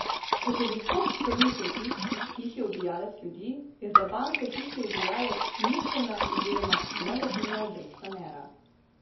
Kot je visok krvni pritisk tihi ubijalec ljudi, je za banke tihi ubijalec ničelna oziroma negativna obrestna mera.